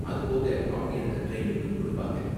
அது போக, அவங்க எனக்கு ட்ரைனிங்கும் கொடுப்பாங்க.